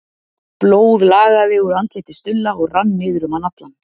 Blóð lagaði úr andliti Stulla og rann niður um hann allan.